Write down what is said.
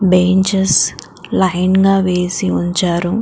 benches line గా వేసి ఉంచారు --